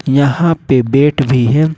यहां पे बैट भी है।